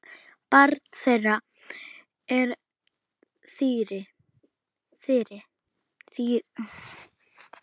Barn þeirra er Þyrí.